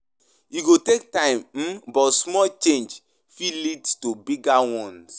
E go take time, um but small changes fit lead to bigger ones.